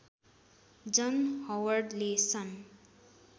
जन हवर्डले सन्